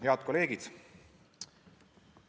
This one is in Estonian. Head kolleegid!